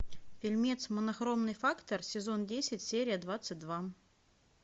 фильмец монохромный фактор сезон десять серия двадцать два